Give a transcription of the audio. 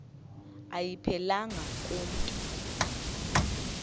ayiphelelanga ku mntu